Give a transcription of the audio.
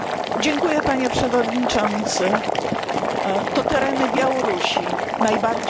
To tereny Białorusi najbardziej ucierpiały w wyniku katastrofy w Czarnobylu.